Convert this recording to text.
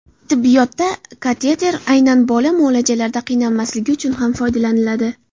Tibbiyotda kateter aynan bola muolajalarda qiynalmasligi uchun ham foydalaniladi.